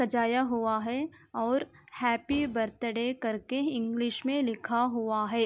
सजाया हुआ है और हैप्पी बर्थ्डै कर के इंग्लिश में लिखा हुआ है।